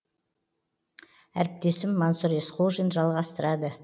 әріптесім мансұр есқожин жалғастырады